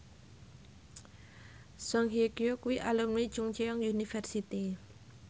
Song Hye Kyo kuwi alumni Chungceong University